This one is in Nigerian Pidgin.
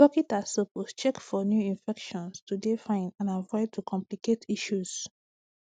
dokitas suppose check for new infections to dey fine and avoid to complicate issues